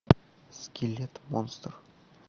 скелет монстр